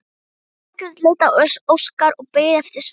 Margrét leit á Óskar og beið eftir svari.